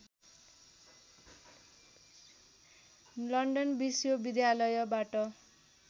London विश्वविद्यालयबाट